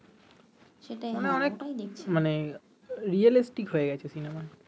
মানে হয়ে গেছে সিনেমা